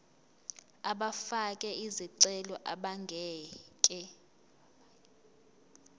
abafake izicelo abangeke